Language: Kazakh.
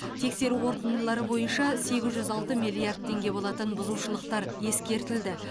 тексеру қорытындылары бойынша сегіз жүз алты миллиард теңге болатын бұзушылықтар ескертілді